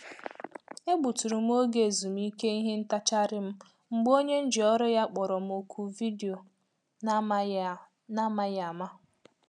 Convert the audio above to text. Egbu tụrụ m oge ezumike ìhè ntacharịm m mgbe onye nji ọrụ ya kpọrọ m oku vidio n’amaghị n’amaghị ama.